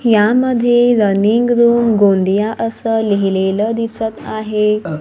यामध्ये running room Gondia असं लिहिलेलं दिसतं आहे.